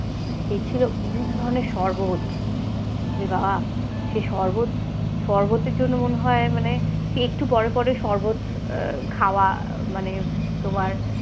সে ছিল বিভিন্ন ধরনের শরবত আবার সে শরবত শরবতের জন্য মনে হয় মানে একটু পরে পরে শরবত খাওয়া মানে তোমার,